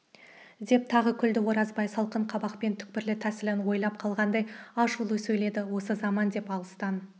деп тағы күлді оразбай салқын қабақпен түкпірлі тәсілін ойлап қалғандай ашулы сөйледі осы заман деп алыстан